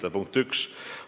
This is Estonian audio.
See on punkt üks.